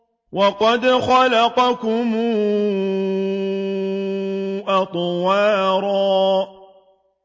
وَقَدْ خَلَقَكُمْ أَطْوَارًا